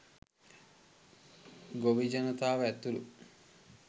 ගොවි ජනතාව ඇතුළු